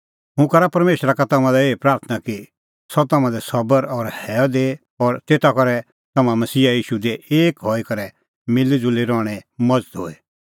हुंह करा परमेशरा का तम्हां लै एही प्राथणां कि सह तम्हां लै सबर और हैअ दैए और तेता करै तम्हां मसीहा ईशू दी एक हई करै मिल़ीज़ुल़ी रहणें मज़त होए